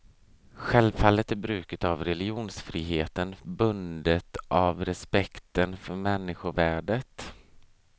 Självfallet är bruket av religionsfriheten bundet av respekten för människovärdet.